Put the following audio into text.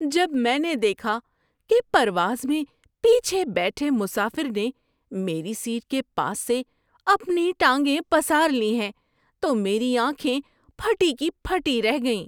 جب میں نے دیکھا کہ پرواز میں پیچھے بیٹھے مسافر نے میری سیٹ کے پاس سے اپنی ٹانگیں پسار لی ہیں تو میری آنکھیں پھٹی کی پھٹی رہ گئیں۔